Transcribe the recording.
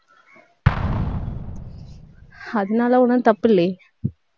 அதனால ஒண்ணும் தப்பு இல்லையே